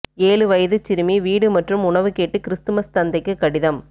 ஏழு வயதுச் சிறுமி வீடு மற்றும் உணவு கேட்டு கிறிஸ்மஸ் தந்தைக்கு கடிதம்